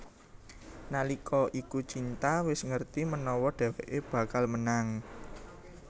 Nalika iku Cinta wis ngerti menawa dheweké bakal menang